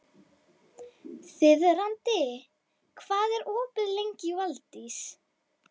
Þiðrandi, hvað er opið lengi í Valdís?